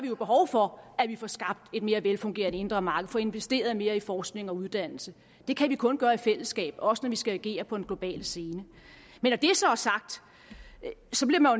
vi jo behov for at vi får skabt et mere velfungerende indre marked og får investeret mere i forskning og uddannelse det kan vi kun gøre i fællesskab også når vi skal agere på en global scene men når det så er sagt